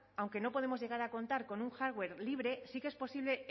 aunque no podemos llegar a contar con un hardware libre sí que es posible